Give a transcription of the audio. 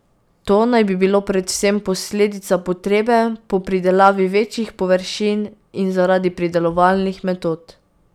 To naj bi bilo predvsem posledica potrebe po pridelavi večjih površin in zaradi pridelovalnih metod.